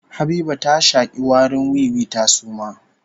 Habiba ta shaki warin wiwi ta suma